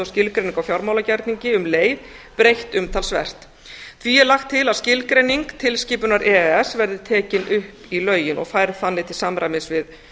á fjármálagerningi og um leið breytt umtalsvert því er lagt til að skilgreining tilskipunar e e s verði tekin upp í lögin og færð þannig til samræmis við